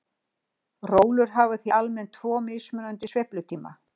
Rólur hafa því almennt tvo mismunandi sveiflutíma.